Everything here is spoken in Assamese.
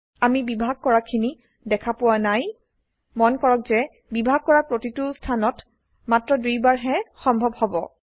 আমি বিভাগ কৰাখিনি দেখা পোৱা নাই মন কৰক যে বিভাগ কৰা প্ৰতিটো স্থানত মাত্ৰ দুইবাৰ হে সম্ভব হব